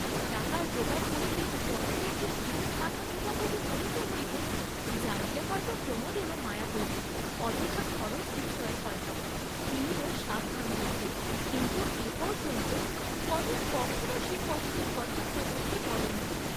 টাকার যোগাড় করিতে কনকের যে কিরূপ মাথা কুটাকুটি করিতে হইত, জানিলে হয় তো প্রমোদেরও মায়া হইত, অযথা খরচ বিষয়ে হয় তো তিনিও সাবধান হইতেন, কিন্তু এপর্য্যন্ত কনক কখনও সে কষ্টের কথা প্রমোদকে বলে নাই।